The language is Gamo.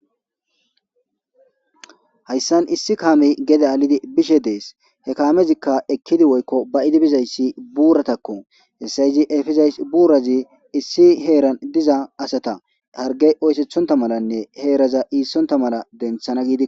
Hayssan issi kaame gede alidi bishe dees he kaamezikka ekkidi woykko ba idi bizayssi buuratakko hessayzi efesays buurazi issi heeran diza asata hargey oysethonta malanne heeraza iissonta mala denthana gidik.